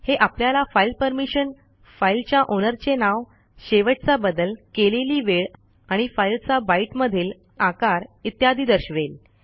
हे आपल्याला file permission फाईलच्या ओनरचे नाव शेवटचा बदल केलेली वेळ आणि फाईलचा बायट मधील आकार इत्यादी दर्शवेल